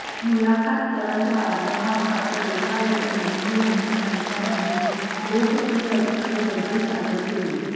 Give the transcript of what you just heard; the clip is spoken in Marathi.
मुलाखतकारांच्या आग्रहाखातर रेखा यांनी मेहंदी हसन यांच्या नावे लोकप्रिय असणारी गजल सादर केली